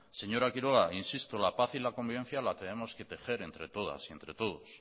señora quiroga insisto la paz y la convivencia la tenemos que tejer entre todas y entre todos